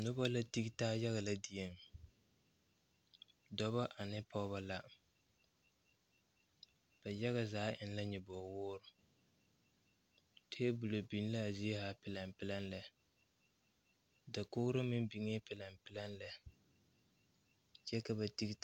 Nobɔ la tige taa yaga lɛ dieŋ dɔbɔ ane pɔgebɔ la ba yaga zaa eŋ la nyoboge woore tabolɔ biŋ laa zie haa pilɛŋ pilɛŋ lɛ dakogro meŋ biŋee pilɛŋ pilɛŋ lɛ kyɛ ka ba tige taa.